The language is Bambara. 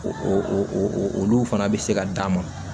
O olu fana bɛ se ka d'a ma